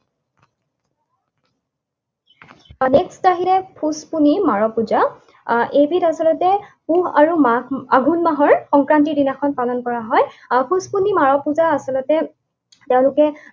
পূজা। এইবিধ আচলতে পুহ আৰু মাঘ, আঘোণ মাহৰ সংক্ৰান্তিৰ দিনাখন পালন কৰা হয়। পূজা আচলতে তেওঁলোকে